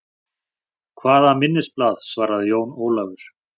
Hvaða minnisblað, svaraði Jón Ólafur.